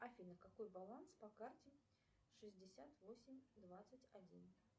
афина какой баланс по карте шестьдесят восемь двадцать один